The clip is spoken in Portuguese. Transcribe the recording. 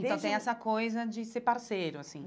Desde então tem essa coisa de ser parceiro, assim.